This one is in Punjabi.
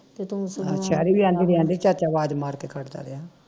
ਆਹ ਸ਼ੈਰੀ ਵੀ ਆਦੀ ਬਈ ਆਂਦੀ ਚਾਚਾ ਅਵਾਜ ਮਾਰ ਕੇ ਖੜਦਾ ਰਿਹਾ